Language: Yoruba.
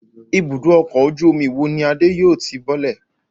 Ibùdó-ọkọ̀ ojú-omi wo ni Adé yóò ti bọ́lẹ̀?